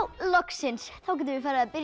loksins þá getum við farið að byrja